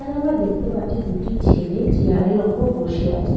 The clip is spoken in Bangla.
এখানে আমরা দেখতে পাচ্ছি দুটি ছেলে চেয়ার -এর ওপর বসে আছে।